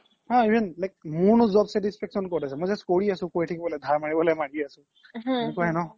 অ even মোৰ নো job satisfaction ক্'ত আছে মই just কৰি আছো ধাৰ মাৰিব লাগে মাৰি আছো এনেকুৱাই ন ?